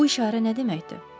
Bu işarə nə deməkdir?